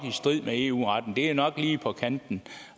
i strid med eu retten at det nok er lige på kanten